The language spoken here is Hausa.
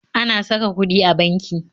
Ana sa ka kuɗi a banki